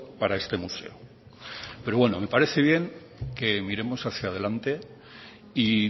para este museo pero bueno me parece bien que miremos hacia adelante y